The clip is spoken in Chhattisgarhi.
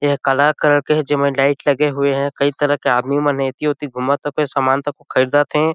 एहा कला कलर के हे जेमे लाइट लगे हुए हे कई तरह के आदमी मन एति ओति घूमत रथे सामान उमान खरीदत हे।